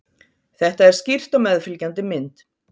þetta er skýrt á meðfylgjandi mynd